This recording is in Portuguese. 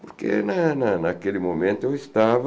Porque né né né naquele momento eu estava